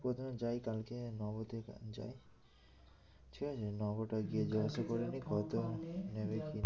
প্রথমে যাই কালকে নব তে যাই ঠিক আছে নব টায় গিয়ে যোগাযোগ করে নিই কত নেবে কি নেবে